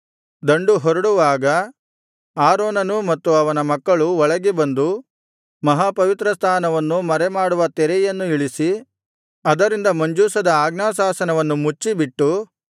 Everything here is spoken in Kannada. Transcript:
ದಂಡು ಹೊರಡುವಾಗ ಆರೋನನೂ ಮತ್ತು ಅವನ ಮಕ್ಕಳೂ ಒಳಗೆ ಬಂದು ಮಹಾಪವಿತ್ರಸ್ಥಾನವನ್ನು ಮರೆಮಾಡುವ ತೆರೆಯನ್ನು ಇಳಿಸಿ ಅದರಿಂದ ಮಂಜೂಷದ ಆಜ್ಞಾಶಾಸನವನ್ನು ಮುಚ್ಚಿಬಿಟ್ಟು